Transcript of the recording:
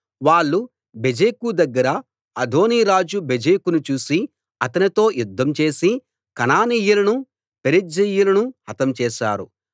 వాళ్ళు బెజెకు దగ్గర అదోనీ రాజు బెజెకును చూసి అతనితో యుద్ధం చేసి కనానీయులను పెరిజ్జీయులను హతం చేశారు